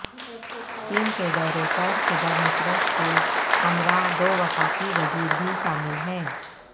چین کے دورے پر صدر مشرف کے ہمراہ دو وفاقی وزیر بھی شامل ہیں